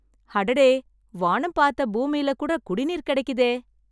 அடடே, வானம் பார்த்த பூமியில கூட குடிநீர் கெடைக்குதே.